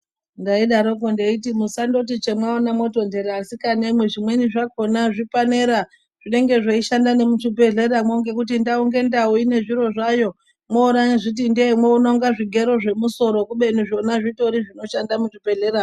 Ndaidaroko ndeiti musandoti chemwaona motondeta asikanemwi, zvimweni zvakona zvipanera zvinenge zveishanda nemuchibhedhleramwo ngekuti ndau ngendau ine zviro zvayo. Monyazviti ndee mwoona kunge zvigero zvemusoro kubeni zvona zvitori zvinoshanda muzvibhehlera .